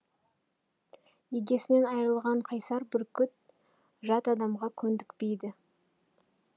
егесінен айрылған қайсар бүркіт жат адамға көндікпейді